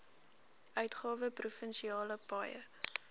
uitgawe provinsiale paaie